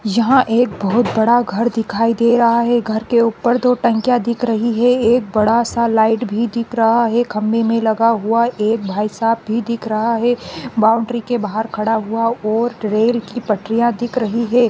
यहां एक बहोत बड़ा घर दिखाई दे रहा है घर के ऊपर दो टंकिया दिख रही है एक बड़ा सा लाइट भी दिख रहा है खंबे मै लगा हुआ एक भाईसाहब भी दिख रहा है बौंऊड़री के बहार खड़ा हुआ और रेल की पटरिया दिख रही है।